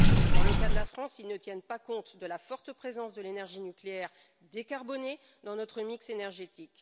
Dans le cas de la France, ils ne tiennent pas compte de la forte présence de l'énergie nucléaire décarbonée dans notre mix énergétique.